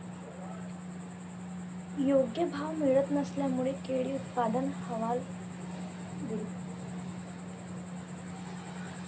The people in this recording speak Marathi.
योग्य भाव मिळत नसल्याने केळी उत्पादक हवालदिल